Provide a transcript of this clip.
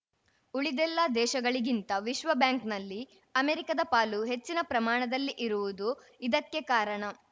ಉಳಿದೆಲ್ಲಾ ದೇಶಗಳಿಗಿಂತ ವಿಶ್ವ ಬ್ಯಾಂಕ್‌ನಲ್ಲಿ ಅಮೆರಿಕದ ಪಾಲು ಹೆಚ್ಚಿನ ಪ್ರಮಾಣದಲ್ಲಿ ಇರುವುದು ಇದಕ್ಕೆ ಕಾರಣ